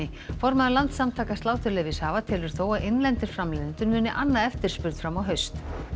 formaður Landssamtaka sláturleyfishafa telur þó að innlendir framleiðendur muni anna eftirspurn fram á haust